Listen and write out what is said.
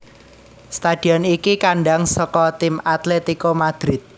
Stadion iki kandhang saka tim Atletico Madrid